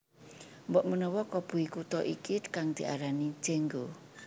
Mbokmenawa koboi Kuta iki kang diarani Jango